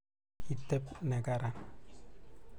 kiteb neran